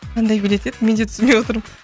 қандай билет еді менді түсінбей отырмын